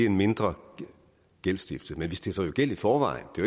en mindre gældsstiftelse men vi stifter jo gæld i forvejen det